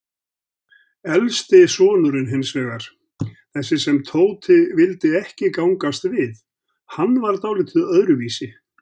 Elsti sonurinn hinsvegar, þessi sem Tóti vildi ekki gangast við, hann var dáldið öðruvísi.